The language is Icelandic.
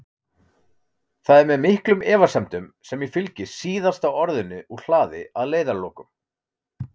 Það er með miklum efasemdum sem ég fylgi SÍÐASTA ORÐINU úr hlaði að leiðarlokum.